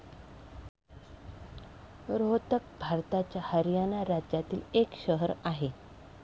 रोहतक भारताच्या हरियाणा राज्यातील एक शहर आहे.